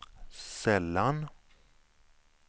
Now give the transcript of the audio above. sällan